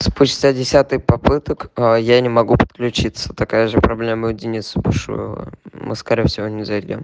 спустя десяток попыток а я не могу подключиться такая же проблема у дениса потому что мы скорее всего не зайдём